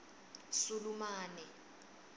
sulumane